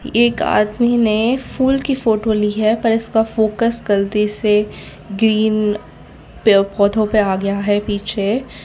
एक आदमी ने फूल की फोटो ली है पर इसका फोकस गलती से ग्रीन पे पौधों पे आ गया है पीछे।